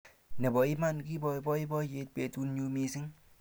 Nebo iman kibo boiboyet betunyu mising